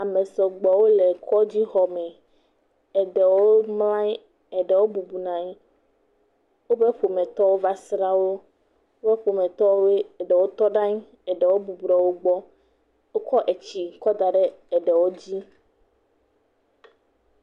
Ame sɔgbɔwo le kɔdzixɔme. Eɖewo mlɔ anyi, ɖewo bublu nɔ anyi. Woƒe ƒometɔwo va srã wo, woƒe ƒometɔwoe, ɖewo tɔ ɖe anyi, ɖewo bublu ɖe wogbɔ. Wokɔ etsi kɔ da ɖe ɖewo dzi.